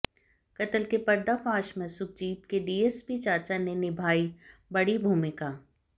कत्ल के पर्दाफाश में सुखजीत के डीएसपी चाचा ने निभाई बड़ी भूमिका